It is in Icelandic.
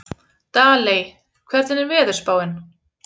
Daley, hvernig er veðurspáin?